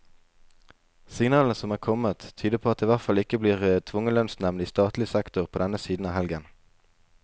Signalene som er kommet, tyder på at det i hvert fall ikke blir tvungen lønnsnevnd i statlig sektor på denne siden av helgen.